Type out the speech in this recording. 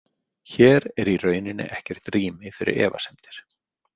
Hér er í rauninni ekkert rými fyrir efasemdir.